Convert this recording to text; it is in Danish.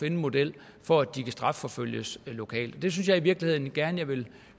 en model for at de kan strafforfølges lokalt det synes jeg i virkeligheden gerne jeg vil